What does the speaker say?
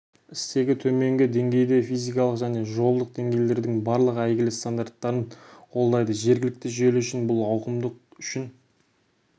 стегі төменгі деңгейде физикалық және жолдық деңгейлердің барлық әйгілі стандарттарын қолдайды жергілікті желі үшін бұл ауқымдық үшін